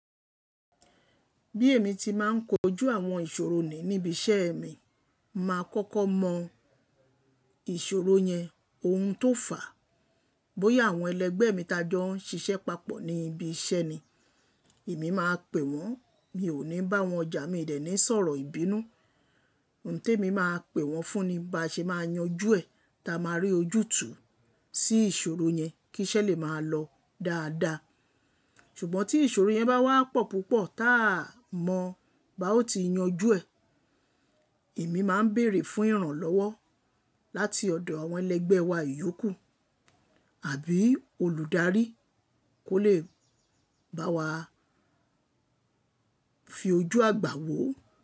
Bí èmi ti máa ń kojú àwọn ìṣòro ni níbi iṣẹ́ mi, màá kọ́kọ́ mọ ìṣòro yẹn oun tó fàá, bóyá àwọn ẹlẹgbẹ́ mi tajọ n ṣiṣẹ́ papọ̀ ní ibi iṣẹ́ ni. Èmi máa pè wọ́n, mi ò ní bá wọn ọjà, mi dẹ̀ ní sọ̀rọ̀ ìbínú. Oun tí èmi máa pè wọ́n fún ni bá ṣe máa yanjú ẹ̀, ta máa rí ojútùú sí ìṣòro yẹn kí iṣẹ́ lè máa lọ dáadáa. Ṣùgbọ́n tí ìṣòro yẹn bá wá pọ̀ púpọ̀ tá a mọ bá ó ti yanjú ẹ̀, èmi máa ń bèèrè fún ìrànlọ́wọ́ láti ọ̀dọ̀ àwọn ẹlẹgbẹ́ wa ìyókù àbí olùdarí kó lè bá wa fi ojú àgbà wò ó.